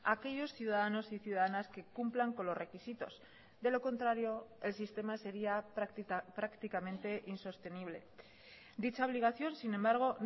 aquellos ciudadanos y ciudadanas que cumplan con los requisitos de lo contrario el sistema sería prácticamente insostenible dicha obligación sin embargo